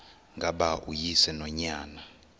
ngaba uyise nonyana